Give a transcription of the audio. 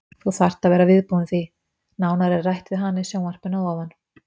Þú þarft að vera viðbúin því. Nánar er rætt við hana í sjónvarpinu að ofan.